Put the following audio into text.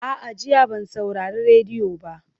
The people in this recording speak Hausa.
A'a, jiya ban saurari rediyo ba.